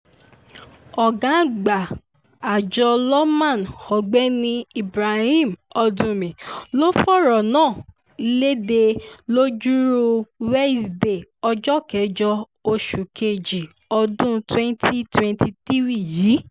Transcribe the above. ọ̀gá àgbà àjọ lawma ọ̀gbẹ́ni ibrahim oduḿḿí ló fọ̀rọ̀ náà lédè lọ́jọ́rùú wesidee ọjọ́ kẹjọ oṣù kejì ọdún twenty twenty three yìí